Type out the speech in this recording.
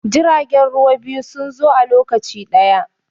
jiragen ruwa biyu sun zo a lokaci ɗaya